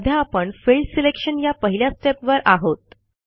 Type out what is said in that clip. सध्या आपण field selection या पहिल्या stepवर आहोत